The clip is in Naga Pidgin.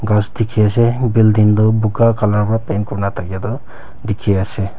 ghas dikhi ase building toh buga colour para paint kurina thaka toh dikhi ase.